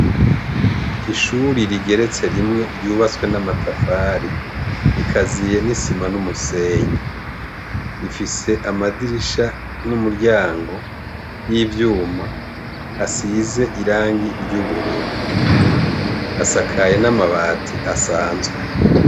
Ishuri rigeretse rimwe ryubatse n' amatafari, rikaziye n' isima n' umusenyi. Rifise amadirisha n' umiryango y' ivyuma asize irangi ry' ubururu. Asahaye n' amabati asanzwe.